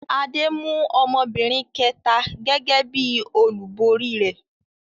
Adé mú ọmọbìnrin kẹ̀ta gẹ́gẹ́ bí i olúborí rẹ̀.